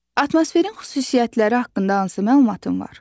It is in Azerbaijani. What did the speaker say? Atmosferin xüsusiyyətləri haqqında hansı məlumatın var?